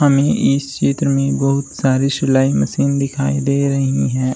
हमे इस चित्र में बहुत सारे सिलाई मशीन दिखाई दे रही है।